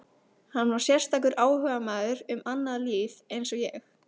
Hann var sérstakur áhugamaður um annað líf eins og ég.